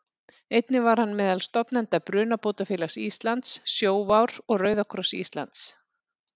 Einnig var hann meðal stofnenda Brunabótafélags Íslands, Sjóvár og Rauða kross Íslands.